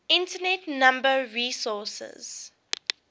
internet number resources